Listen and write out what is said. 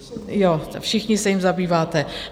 Jo, všichni se jím zabýváte.